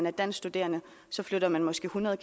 en dansk studerende flytter man måske hundrede